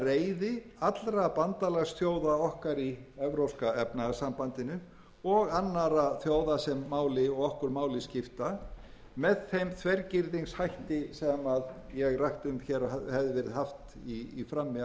reiði allra bandalagsþjóða okkar í evrópska efnahagssambandinu og annarra þjóða sem okkur máli skipta með þeim þvergirðingshætti sem ég rakti um hér að hefði verið hafður í frammi af